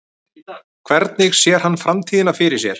Hvernig sér hann framtíðina fyrir sér?